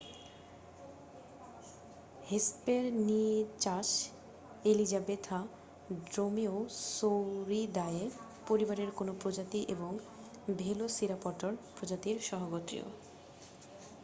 Hesperonychus elizabethae Dromaeosauridae পরিবারের কোন প্রজাতি এবং ভেলোসিরাপটর প্রজাতির সহগোত্রীয়